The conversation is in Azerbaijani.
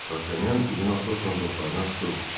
Dartanyan üzünü Atosla dostlarına tutub: